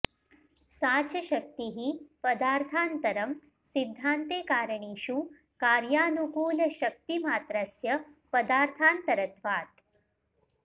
सा च शक्तिः पदार्थान्तरम् सिद्धान्ते कारणेषु कार्यानुकूलशक्तिमात्रस्य पदार्थान्तरत्वात्